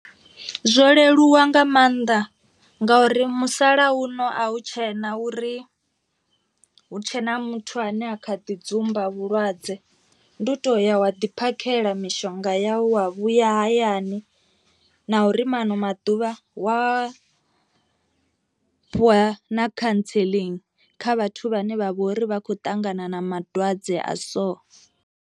Zwo leluwa nga maanḓa ngauri musalauno a hu tshena uri hu tshena muthu ane a kha ḓi dzumba vhulwadze, ndi u to ya wa ḓi phakhela mishonga ya ya hone wa vhuya hayani na uri mano maḓuvha wa fhiwa na cancelling kha vhathu vhane vha vhori vha khou ṱangana na madwadze a so.